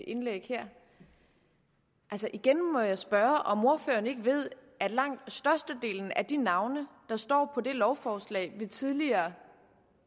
indlæg her og igen må jeg spørge om ordføreren ikke ved at langt størstedelen af de navne der står på det lovforslag vi tidligere